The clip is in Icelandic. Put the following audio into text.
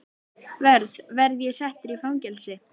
Verð. verð ég settur í fangelsi?